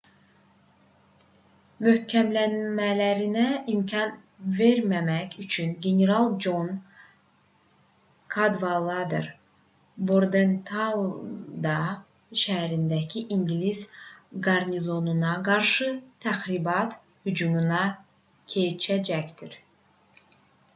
möhkəmlənmələrinə imkan verməmək üçün general con kadvalader bordentaunda şəhərindəki i̇ngilis qarnizonuna qarşı təxribat hücumuna keçəcəkdi